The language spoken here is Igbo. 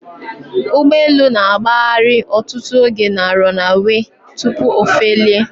Ugbọelu na agbahari ọtụtụ oge na 'runaway' tupu ofelie